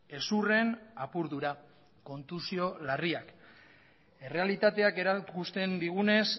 hezurren apurdura kontusio larriak errealitateak erakusten digunez